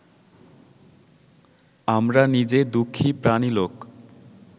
আমরা নিজে দুঃখী প্রাণী লোক